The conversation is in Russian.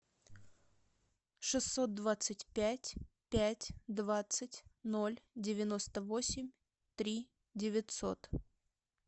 шестьсот двадцать пять пять двадцать ноль девяносто восемь три девятьсот